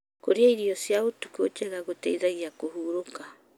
Kũrĩa irio cia ũtukũ njega gũteithagia kũhurũka.